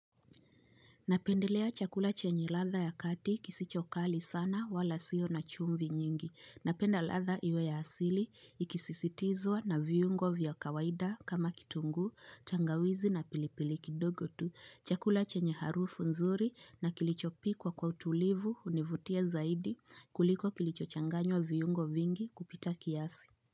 Napendelea chakula chenye latda ya kati kisichokali sana wala siyo na chumvi nyingi. Napenda ladha iwe ya asili, ikisisitizwa na viungo vya kawaida kama kitunguu, tangawizi na pilipili kidogotu. Chakula chenye harufu nzuri na kilichopikwa kwa utulivu hunivutia zaidi kuliko kilicho changanywa viungo vingi kupita kiasi.